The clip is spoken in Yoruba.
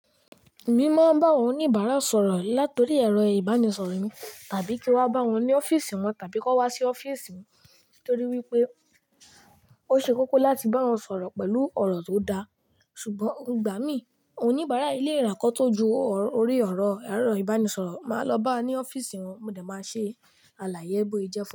Mi máa ń bá àwọn oníbàárà sọ̀rọ̀ látọ̀rí ẹ̀rọ ìbánisọ̀rọ̀ mi tàbí kí wá bá wọn ní ọ́fíìsì wọn tàbí kó wá sí ọ́fíìsì mi nítorí wípé o ṣe kókó láti bá wọn sọ̀rọ̀ pẹ̀lú ọ̀rọ̀ tó da. Ṣùgbọ́n ìgbà mí oníbàárà yìí lé rá nk8 tó ju ọrẹ ọ̀rọ̀ ẹ̀rọ ìbánisọ̀rọ̀ máa lọ bá a ní ọ́fíìsì wọn mo dẹ̀ máa ṣe àlàyé bó i jẹ́ pé.